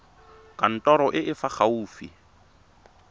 kantorong e e fa gaufi